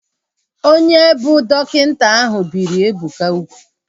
Onye a bụ dọkịta ahu biri Ebuka ugwu